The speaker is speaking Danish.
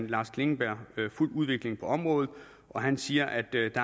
lars klingenberg har fulgt udviklingen på området og han siger at der ikke